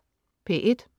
P1: